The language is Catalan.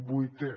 vuitè